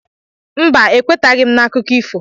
Mba, ekwetaghị m n'akụkọ ifo.